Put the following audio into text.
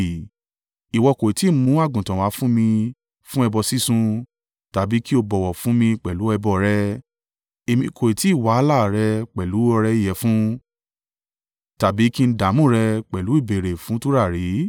Ìwọ kò tí ì mú àgùntàn wá fún mi fún ẹbọ sísun, tàbí kí o bọ̀wọ̀ fún mi pẹ̀lú ẹbọ rẹ. Èmi kò tí ì wàhálà rẹ pẹ̀lú ọrẹ ìyẹ̀fun tàbí kí n dààmú rẹ pẹ̀lú ìbéèrè fún tùràrí.